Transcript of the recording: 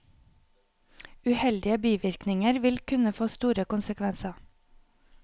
Uheldige bivirkninger vil kunne få store konsekvenser.